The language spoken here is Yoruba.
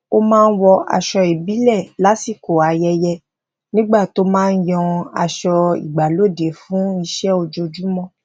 ó máa ń wọ aṣọ ìbíle lásìkò ayẹyẹ nígbà tó maa ń yan aṣọ igbalode fún ise ojoojúmo